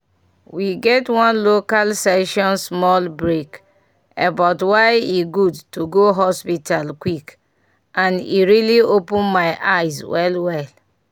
we get one local session small break about why e good to go hospital quick and e really open my eyes well well.